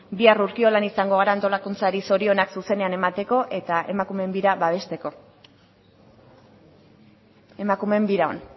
bihar urkiolan izango gara antolakuntzari zorionak zuzenean emateko eta emakumeen bira babesteko emakumeen biran